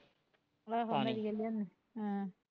ਆਹੋ ਨਰੀਅਲ ਲਿਆਉਣ